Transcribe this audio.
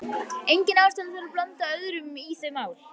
Engin ástæða til að blanda öðrum í þau mál.